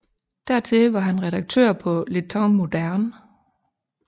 Dertil var han redaktør på Les Temps Modernes